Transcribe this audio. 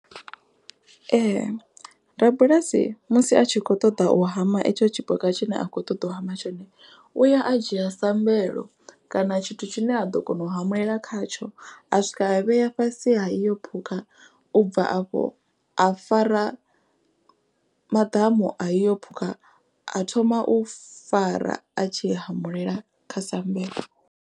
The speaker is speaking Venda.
Ee rabulasi musi a tshi kho ṱoḓa u hama etsho tshipuka tshine a khou ṱoḓa u hama tshone. U ya a dzhia sa mbuelo kana tshithu tshine a ḓo kona u hamulela khatsho. A swika a vhea fhasi ha iyo phukha u bva afho a fara maḓamu a iyo phukha a thoma u fara a tshi hamulela kha sambelo.